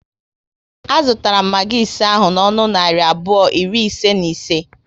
A zụtara m magi ise ahụ n'ọnụ narị abụọ iri ise na ise